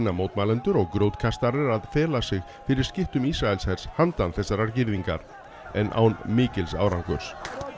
mótmælendur og að fela sig fyrir skyttum Ísraelshels handan þessarar girðingar en án mikils árangurs